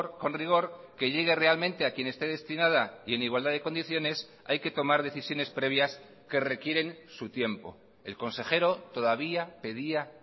con rigor que llegue realmente a quien esté destinada y en igualdad de condiciones hay que tomar decisiones previas que requieren su tiempo el consejero todavía pedía